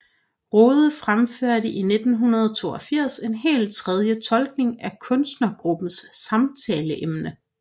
Rohde fremførte i 1982 en helt tredje tolkning af kunstnergruppens samtaleemne